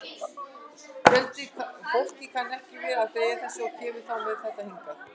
Fólk kann ekki við að fleygja þessu og kemur þá með þetta hingað.